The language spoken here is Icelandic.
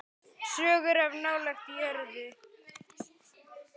Sögur of nálægt jörðu.